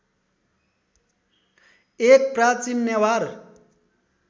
एक प्राचीन नेवार